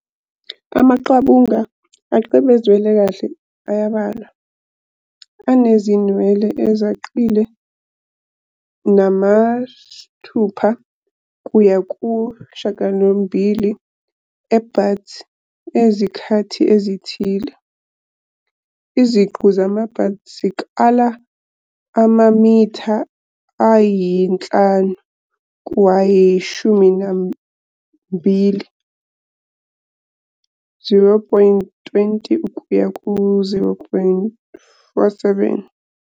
Amaqabunga acwebezelwe kahle ayabalwa, anezinwele ezacile, nama-6 kuya ku-9 e-buds ngezikhathi ezithile. Iziqu zama-buds zikala amamitha ayi-5 kuye kwayi-12, 0.20 kuya ku-0.47 ku.